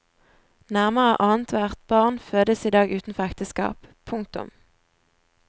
Nærmere annethvert barn fødes i dag utenfor ekteskap. punktum